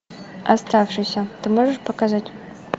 оставшийся ты можешь показать